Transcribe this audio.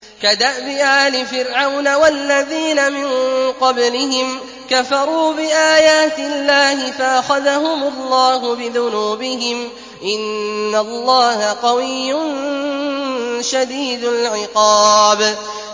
كَدَأْبِ آلِ فِرْعَوْنَ ۙ وَالَّذِينَ مِن قَبْلِهِمْ ۚ كَفَرُوا بِآيَاتِ اللَّهِ فَأَخَذَهُمُ اللَّهُ بِذُنُوبِهِمْ ۗ إِنَّ اللَّهَ قَوِيٌّ شَدِيدُ الْعِقَابِ